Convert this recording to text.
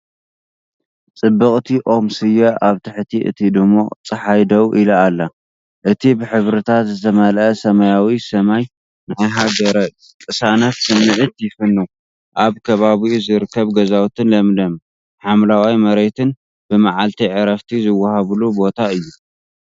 ጽብቕቲ ኦም ስየ ኣብ ትሕቲ እቲ ድሙቕ ጸሓይ ደው ኢላ ኣላ። እቲ ብሕብርታት ዝመልአ ሰማያዊ ሰማይ ናይ ሃገር ቅሳነት ስምዒት ይፍንው፤ ኣብ ከባቢኡ ዝርከቡ ገዛውትን ለምለም ሓምላይ መሬትን ብመዓልቲ ዕረፍቲ ዝወሃበሉ ቦታ የለዓዕል።